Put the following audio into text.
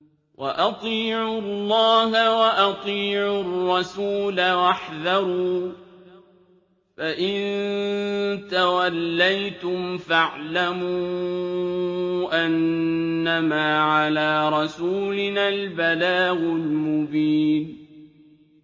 وَأَطِيعُوا اللَّهَ وَأَطِيعُوا الرَّسُولَ وَاحْذَرُوا ۚ فَإِن تَوَلَّيْتُمْ فَاعْلَمُوا أَنَّمَا عَلَىٰ رَسُولِنَا الْبَلَاغُ الْمُبِينُ